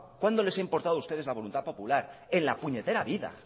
cuándo les ha importado a ustedes la voluntad popular en la puñetera vida